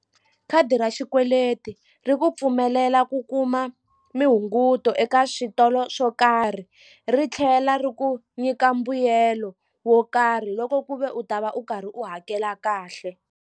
Khadi ra xikweleti ri ku pfumelela ku kuma mihunguto eka switolo swo karhi ri tlhela ri ku nyika mbuyelo wo karhi loko ku ve u ta va u karhi u hakela kahle.